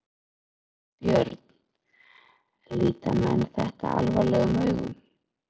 Björn: Líta menn þetta alvarlegum augum?